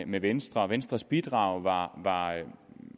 med venstre og venstres bidrag var var